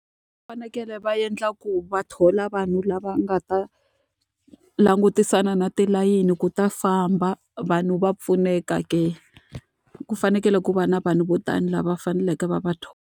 Va fanekele va endla ku va thola vanhu lava nga ta langutisana na tilayini ku ta famba, vanhu va pfuneka ke. Ku fanekele ku va na vanhu vo tani lava faneleke va va thola.